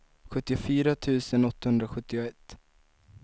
sjuttiofyra tusen åttahundrasjuttioett